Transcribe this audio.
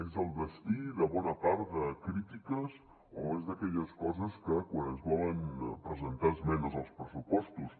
és el destí de bona part de crítiques o és d’aquelles coses que quan es volen presentar esmenes als pressupostos